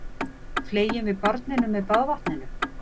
Fleygjum við barninu með baðvatninu?